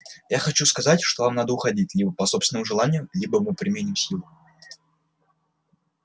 я хочу сказать что вам надо уходить либо по собственному желанию либо мы применим силу